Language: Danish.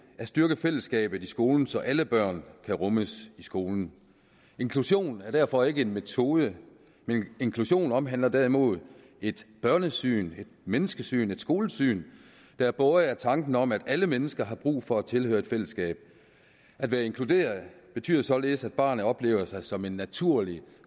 at styrke fællesskabet i skolen så alle børn kan rummes i skolen inklusion er derfor ikke en metode men inklusion omhandler derimod et børnesyn et menneskesyn et skolesyn der er båret af tanken om at alle mennesker har brug for at tilhøre et fællesskab at være inkluderet betyder således at barnet oplever sig som en naturlig